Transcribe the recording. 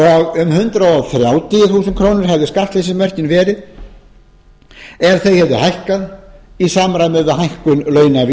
um hundrað þrjátíu þúsund krónur hefðu skattleysismörkin verið ef þau hefðu hækkað í samræmi við hækkun launavísitölunnar